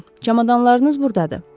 Çamadanlarınız buradadır.